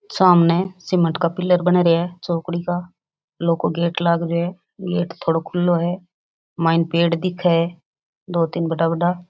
सामने सीमेंट का पिलर बन रेहा है चौकड़ी का लोह को गेट लाग रेहो है गेट थोड़ो खुल्लो है माईन पेड़ दिखे है दो तीन बड़ा बड़ा।